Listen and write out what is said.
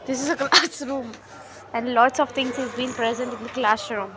This is a class room and lots of things is been present in the classroom.